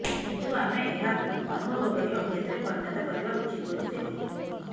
କିନ୍ତୁ ଆମେ ଏହାକୁ ଅନୁଭବ କରି ଅଭ୍ୟାସରେ ପରିଣତ କରିବା ଉଚିତ ବୋଲି ସେ କହିଥିଲେ